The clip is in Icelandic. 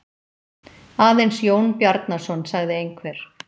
Aðeins Jón Bjarnason, sagði einhver.